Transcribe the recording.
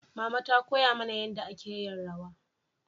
mama ta koya mana yanda a ke yin rawa